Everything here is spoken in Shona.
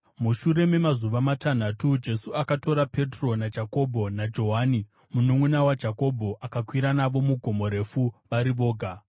Mushure memazuva matanhatu Jesu akatora Petro naJakobho naJohani mununʼuna waJakobho akakwira navo mugomo refu vari voga.